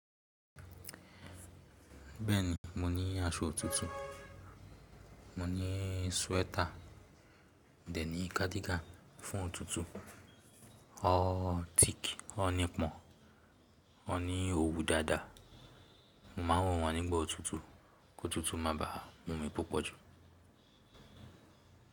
Bẹ́ẹ̀ ni, mo ní aṣọ òtútù, mo ní sweater, dè ní cardigan fún òtútù. Wọ́n thick, wọ́n ni pọ́n, wọ́n ní òwú dáadáa. Mo máà ń wọ̀n wọ́n nígbà òtútù kí òtútù má bàá mú mi púpọ̀ jù.